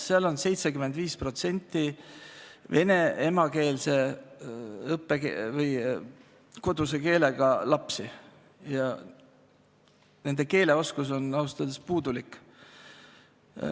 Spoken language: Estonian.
Seal on 75% lastest vene emakeele või koduse keelega ja nende eesti keele oskus on ausalt öeldes puudulik.